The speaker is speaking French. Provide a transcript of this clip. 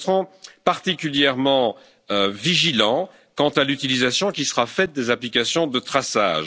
général. Et nous resterons particulièrement vigilants sur l'utilisation qui sera faite des applications de